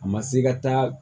A ma se ka taa